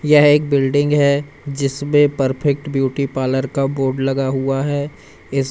यह एक बिल्डिंग है जिसपे परफेक्ट ब्यूटी पार्लर का बोर्ड लगा हुआ है इस--